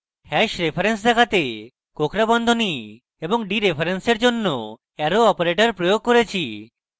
hash reference দেখাতে কোঁকড়া বন্ধনী এবং ডিরেফারেন্সের জন্য arrow operator প্রয়োগ করেছি